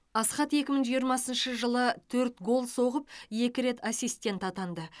асхат екі мың жиырмасыншы жылы төрт гол соғып екі рет ассистент атанды